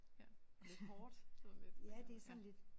Ja lidt hårdt sådan lidt ja